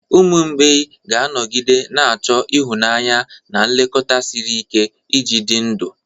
Ụmụ mgbei ga-anọgide na-achọ ịhụnanya na nlekọta siri ike iji dị ndụ.